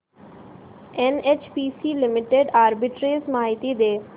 NHPC limited arbitrage माहिती दे